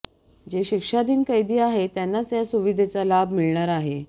जे शिक्षाधीन कैदी आहेत त्यांनाच या सुविधेचा लाभ मिळणार आहे